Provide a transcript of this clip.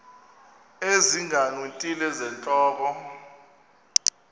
ezinga ngeenwele zentloko